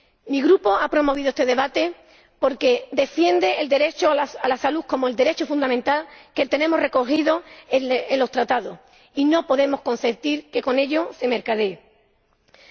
Mi Grupo ha promovido este debate porque defiende el derecho a la salud como un derecho fundamental que tenemos recogido en los Tratados y no podemos consentir que se mercadee con ello.